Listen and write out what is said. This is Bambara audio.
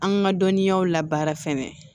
An ka dɔnniyaw labaara fɛnɛ